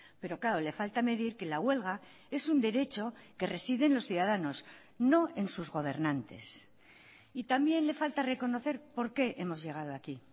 pero claro le falta medir que la huelga es un derecho que reside en los ciudadanos no en sus gobernantes y también le falta reconocer por qué hemos llegado aquí